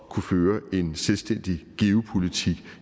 kunne føre en selvstændig geopolitik